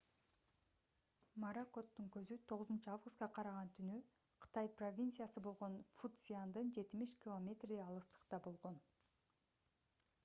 моракоттун көзү 9-августка караган түнү кытай провинциясы болгон фуцзяндан жетимиш километрдей алыстыкта болгон